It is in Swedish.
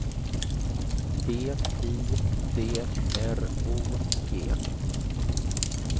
B I D R O G